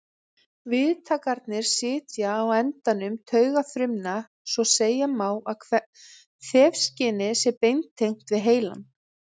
Viðtakarnir sitja á endum taugafrumna svo segja má að þefskynið sé beintengt við heilann.